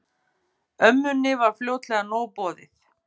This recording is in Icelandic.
Ömmunni var fljótlega nóg boðið.